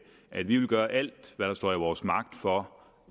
at vi vil gøre alt hvad der står i vores magt for